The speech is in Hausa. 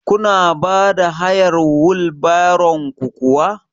Kuna bada hayar wil baron ku kuwa?